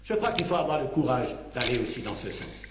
Je crois qu'il faut avoir le courage d'aller aussi dans ce sens.